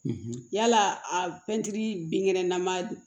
yala a pɛntiri binkɛnɛ nama